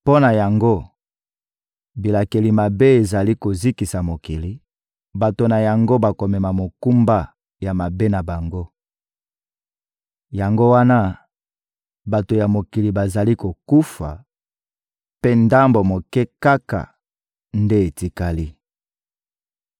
Mpo na yango, bilakeli mabe ezali kozikisa mokili; bato na yango bakomema mokumba ya mabe na bango. Yango wana, bato ya mokili bazali kokufa, mpe ndambo moke kaka nde etikali.